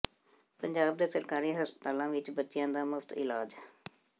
ਪੰਜਾਬ ਦੇ ਸਰਕਾਰੀ ਹਸਪਤਾਲਾਂ ਵਿਚ ਬੱਚਿਆਂ ਦਾ ਮੁਫਤ ਇਲਾਜ਼